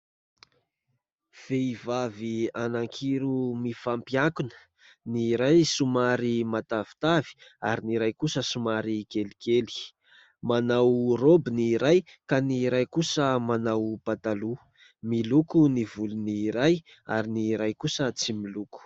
Vehivavy anankiroa mifampiankina ny iray somary matavitavy ary ny iray kosa somary kelikely, manao roby ny iray ka ny iray kosa manao pataloha, miloko ny volony iray ary ny iray kosa tsy miloko.